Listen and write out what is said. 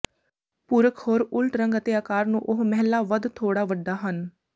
ਪੁਰਖ ਹੋਰ ਉਲਟ ਰੰਗ ਅਤੇ ਆਕਾਰ ਨੂੰ ਉਹ ਮਹਿਲਾ ਵੱਧ ਥੋੜ੍ਹਾ ਵੱਡਾ ਹਨ